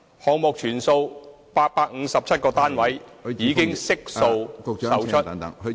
項目全數857個單位已悉數售出......